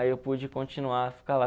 Aí eu pude continuar, ficar lá.